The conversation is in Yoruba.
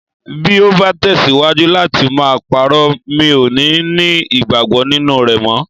. Bí o bá tẹ̀síwájú láti máa parọ́, mi ò ní ní ìgbàgbọ́ nínú rẹ mọ́.